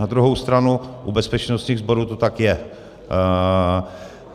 Na druhou stranu u bezpečnostních sborů to tak je.